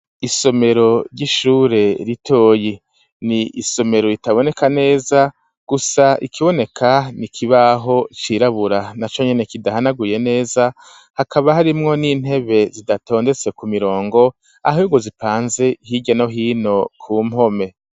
Isomero ry'ishure ritoyi, ni isomero ritaboneka neza, gusa ikiboneka ni ikibaho cirabura naco nyene kidahanaguye neza, hakaba harimwo n'intebe zidatondetse ku mirongo, ahubwo zipanze hirya no hino ku mpome.